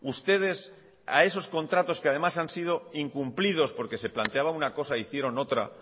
ustedes a esos contratos que además han sido incumplidos porque se planteaba una cosa e hicieron otra